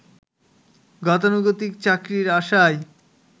গতানুগতিক চাকরির আশায়